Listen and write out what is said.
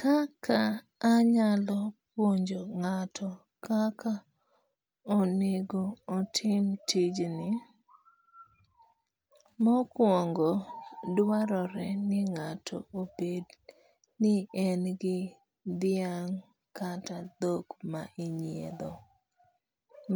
Kaka anyalo puonjo ng'ato kaka onego otim tijni, mokuongo dwarore ni ng'ato obed ni en gi dhiang' kata dhok ma inyiedho